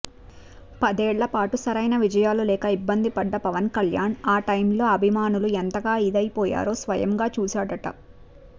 పదేళ్ల పాటు సరైన విజయాలు లేక ఇబ్బంది పడ్డ పవన్కళ్యాణ్ ఆ టైమ్లో అభిమానులు ఎంతగా ఇదైపోయారో స్వయంగా చూసాడట